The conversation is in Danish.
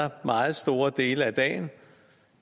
meget store dele af dagen